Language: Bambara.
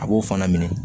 A b'o fana minɛ